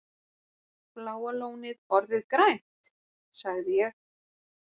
Bláa lónið orðið grænt? sagði ég.